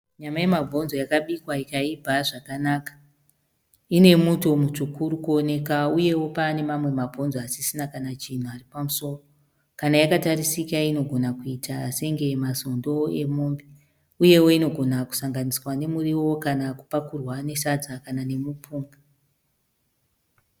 Nyama yemabhonzo yakabikwa ikaibva zvakanaka . Ine muto mutsvuku urikuoneka uyewo pane mamwe mabhonzo asisina kana chinhu ari pamusoro. Kana yakatarisika inogona akuita senge mazondo emombe . Uyewo inogona kusanganiswa nemuriwo kana kupakurwa nesadza kana nemupunga .